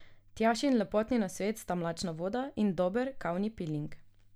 Tjašin lepotni nasvet sta mlačna voda in dober kavni piling.